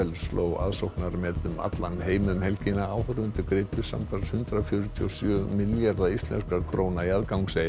sló aðsóknarmet um allan heim um helgina áhorfendur greiddu samtals hundrað fjörutíu og sjö milljarða íslenskra króna í aðgangseyri